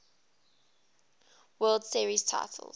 world series titles